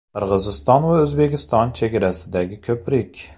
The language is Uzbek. Qirg‘iziston va O‘zbekiston chegarasidagi ko‘prik.